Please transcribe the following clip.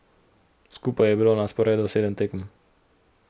Skupaj je bilo na sporedu sedem tekem.